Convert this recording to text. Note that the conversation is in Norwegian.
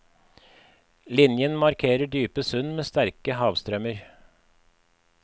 Linjen markerer dype sund med sterke havstrømmer.